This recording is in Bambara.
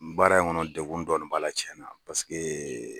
Baara in kɔnɔ degun dɔɔni b'a la cɛnna paseke